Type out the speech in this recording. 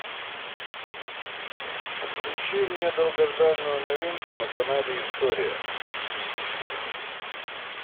включи мне долгожданную новинку на канале история